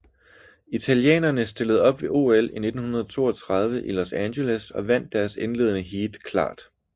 Italienerne stillede op ved OL 1932 i Los Angeles og vandt deres indledende heat klart